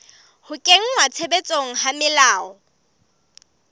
ho kenngwa tshebetsong ha melao